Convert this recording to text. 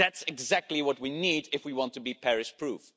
That is exactly what we need if we want to be Paris proof.